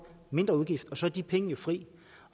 mindre udgift så er de penge jo fri